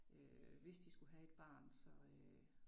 Øh hvis de skulle have et barn så øh